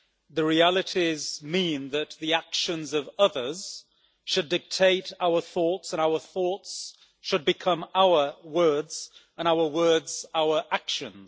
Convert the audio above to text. The realities mean that the actions of others should dictate our thoughts, and our thoughts should become our words, and our words our actions.